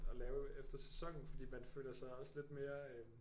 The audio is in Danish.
Og lave efter sæsonen fordi man føler sig også lidt mere øh